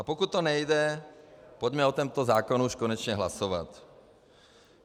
A pokud to nejde, pojďme o tomto zákonu už konečně hlasovat.